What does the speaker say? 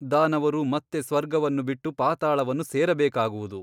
ದಾನವರು ಮತ್ತೆ ಸ್ವರ್ಗವನ್ನು ಬಿಟ್ಟು ಪಾತಾಳವನ್ನು ಸೇರಬೇಕಾಗುವುದು.